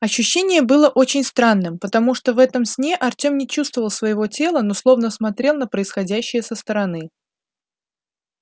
ощущение было очень странным потому что в этом сне артём не чувствовал своего тела но словно смотрел на происходящее со стороны